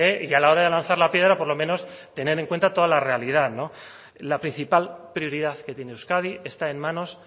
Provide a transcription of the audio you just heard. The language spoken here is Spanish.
y a la hora de lanzar la piedra por lo menos tener en cuenta toda la realidad la principal prioridad que tiene euskadi está en manos